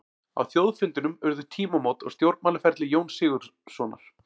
Á þjóðfundinum urðu tímamót á stjórnmálaferli Jóns Sigurðssonar.